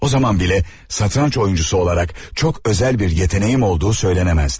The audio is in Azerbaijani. O zaman belə satranç oyuncusu olaraq çox özel bir yeteneğim olduğu söylənəməzdi.